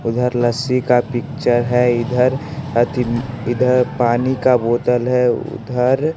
उधर लस्सी का पिक्चर है इधर अथि इधर पानी का बोतल है उधर --